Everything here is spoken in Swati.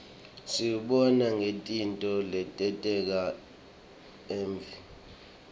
siwubona ngetintfo letenteka evfni